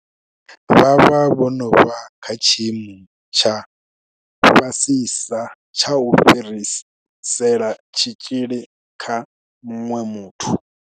Vha vha vho no vha kha tshiimo tsha fhasisa tsha u fhirisela tshitzhili kha muṅwe muthu.